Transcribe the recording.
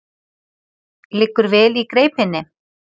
Liggur vel í greipinni.